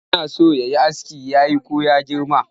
Yana so ya yi askin yayi ko ya girma?